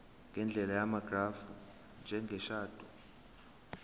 ngendlela yamagrafu njengeshadi